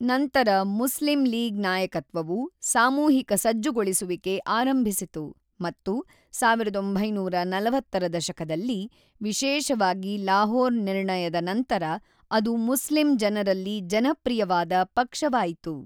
ನಂತರ ಮುಸ್ಲಿಂ ಲೀಗ್ ನಾಯಕತ್ವವು ಸಾಮೂಹಿಕ ಸಜ್ಜುಗೊಳಿಸುವಿಕೆ ಆರಂಭಿಸಿತು, ಮತ್ತು ೧೯೪೦ ರ ದಶಕದಲ್ಲಿ, ವಿಶೇಷವಾಗಿ ಲಾಹೋರ್ ನಿರ್ಣಯದ ನಂತರ ಅದು ಮುಸ್ಲಿಂ ಜನರಲ್ಲಿ ಜನಪ್ರಿಯವಾದ ಪಕ್ಷವಾಯಿತು.